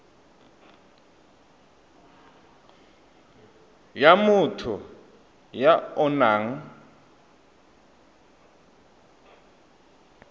ya motho ya o nang